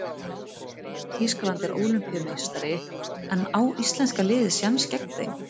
Þýskaland er Ólympíumeistari en á íslenska liðið séns gegn þeim?